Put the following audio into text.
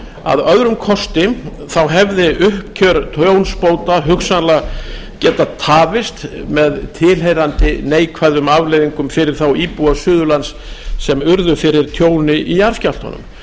að öðrum kosti hefði uppgjör tjónsbóta hugsanlega getað tafist með tilheyrandi neikvæðum afleiðingum fyrir þá íbúa suðurlands sem urðu fyrir tjóni í jarðskjálftanum